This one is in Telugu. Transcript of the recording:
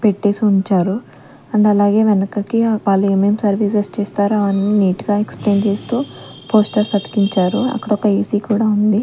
పెట్టేసి ఉంచారు అండ్ అలాగే వెనకకి వాళ్ళు ఏమేమి సర్వీసెస్ చేస్తారో అన్నీ నీటు గా ఎక్స్ ప్లేయిన్ చేస్తూ పోస్టర్స్ అతికించారు అక్కడ ఒక ఎ_సి కూడా ఉంది.